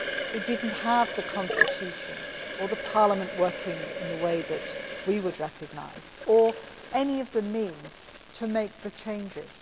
It did not have the constitution or the parliament working in the way that we would recognise, or any of the means to make the changes.